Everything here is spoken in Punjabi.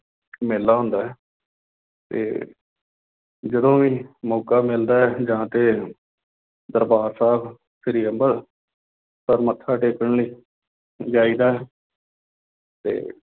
ਮੇਲਾ ਹੁੰਦਾ ਹੈ ਤੇ ਜਦੋਂ ਵੀ ਮੌਕਾ ਮਿਲਦਾ ਹੈ ਜਾ ਕੇ ਦਰਬਾਰ ਸਾਹਿਬ ਸ੍ਰੀ ਅੰਬਰਸਰ ਮੱਥਾ ਟੇਕਣ ਲਈ ਜਾਈਦਾ ਹੈ ਤੇ